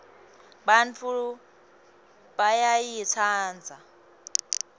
bantfu bayayitsandza